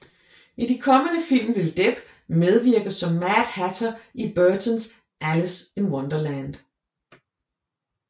I de kommende film vil Depp medvirke som Mad Hatter i Burtons Alice in Wonderland